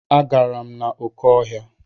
Agara m n'oké ọhịa.